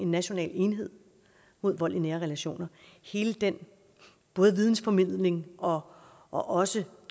national enhed mod vold i nære relationer hele den vidensformidling og og også